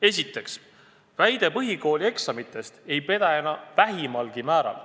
Esiteks, väide põhikoolieksamite kohta ei päde enam vähimalgi määral.